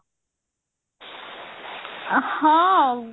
ହଁ ଆଉ